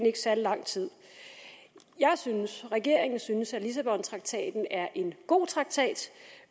ikke særlig lang tid jeg synes regeringen synes at lissabontraktaten er en god traktat